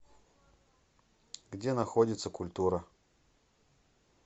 где находится культура